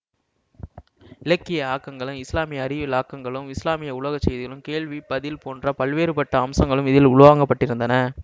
இலக்கிய ஆக்கங்களும் இஸ்லாமிய அறிவியல் ஆக்கங்களும் இஸ்லாமிய உலக செய்திகளும் கேள்வி பதில் போன்ற பல்வேறுபட்ட அம்சங்களும் இதில் உள்வாங்கப்பட்டிருந்தன